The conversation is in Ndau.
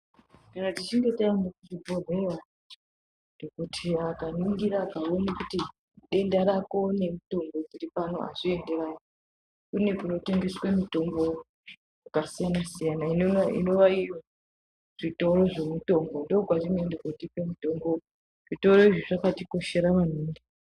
kana tichinge tamuchibhehleya dhokodheya akaningira akaone kuti denda rake nemitombo dziripano azvipindirani kune kunotengeswe mitombo yakasiyanasiyana inova iyo zvitoro zvemitombo ndokwatinoende kotenge mutombo ,zvitoro izvi zvakatikoshera maningi.